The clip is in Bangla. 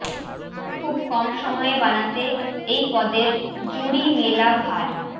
খুব কম সময়ে বানাতে এই পদের জুরি মেলা ভার